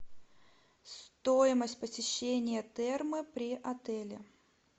стоимость посещения термы при отеле